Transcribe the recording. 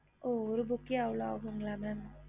ஒரு book அவ்ளோ ஆகுமா mam